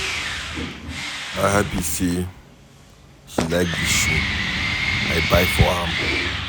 I happy say she like the shoe I buy for am.